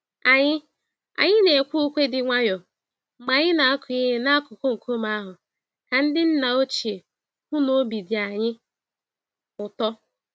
Anyị Anyị nekwe ùkwè dị nwayọọ mgbe anyị na-akụ ihe n'akụkụ nkume ahụ ka ndị nna ochie hụ n'obi dị anyị ụtọ.